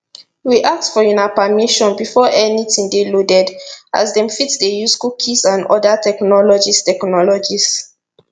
we ask for una permission before anytin dey loaded as dem fit dey use cookies and oda technologies technologies